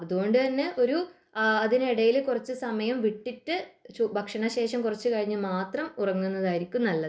അതുകൊണ്ട് തന്നെ ഒരു അതിനിടയിൽ കുറച്ചു സമയം വിട്ടിട്ടു ഭക്ഷണ ശേഷം കുറച്ചു കഴിഞ്ഞിട്ട് മാത്രം ഉറങ്ങുന്നതായിരിക്കും നല്ലത്